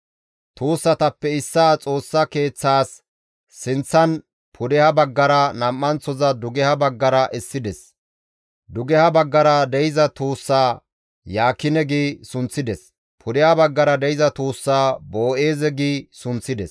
Tuussatappe issaa Xoossa Keeththaas sinththan pudeha baggara, nam7anththoza dugeha baggara essides; dugeha baggara de7iza tuussaa, «Yaakine» gi sunththides; pudeha baggara de7iza tuussaa, «Boo7eeze» gi sunththides.